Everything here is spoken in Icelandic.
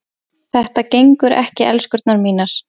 Þetta gengur ekki, elskurnar mínar.